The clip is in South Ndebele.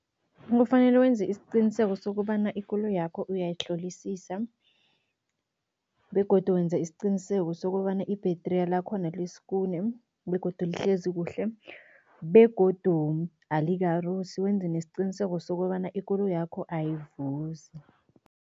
Kufanele wenze isiqiniseko sokobana ikoloyakho uyayihlolisisa begodu wenza isiqiniseko sokobana i-battery lakhona lisikune begodu lihlezi kuhle begodu alikarusi, wenze nesiqiniseko sokobana ikoloyakho ayivuzi.